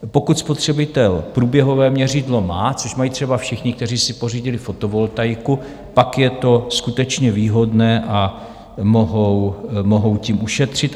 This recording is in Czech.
Pokud spotřebitel průběhové měřidlo má - což mají třeba všichni, kteří si pořídili fotovoltaiku - pak je to skutečně výhodné a mohou tím ušetřit.